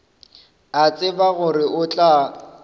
a tseba gore o tla